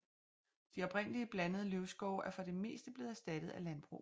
De oprindelige blandede løvskove er for det meste blevet erstattet af landbrug